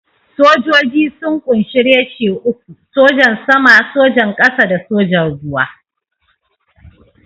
Sojoji sun ƙunshi reshe uku: Sojan Sama, Sojan Ƙasa da Sojan Ruwa.